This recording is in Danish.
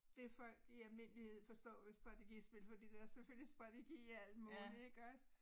Det folk i almindelighed forstår ved strategispil fordi der selvfølgelig strategi i alt muligt ikke også